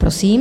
Prosím.